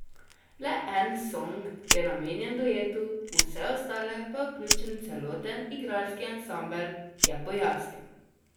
Le en song je namenjen duetu, v vse ostale pa je vključen celoten igralski ansambel, je pojasnil.